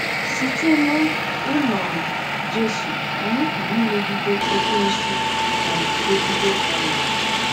Site n'iṅomi Jesu, anyị pụrụ imegide Ekwensu ma guzogide ọnwụnwa.